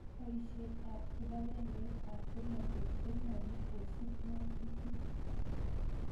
Poisyet ap kipakengeit ap polotet konyalu kosup ng'atutik